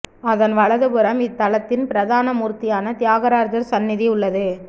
அதன் வலதுபுறம் இத்தலத்தின் பிரதான மூர்த்தியான தியாகராஜர் சந்நதி உள்ளது